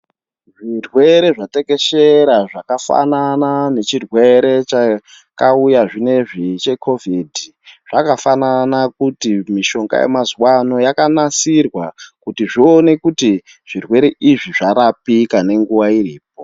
Zvirwere zvateshera zvakafana nechirwere chakauya zvinezvi che kovhidhi zvakafanana kuti mishonga yemazuva ano yakanasirwa kuti zvioneke kuti zvirwere izvi zvarapika nenguva iripo.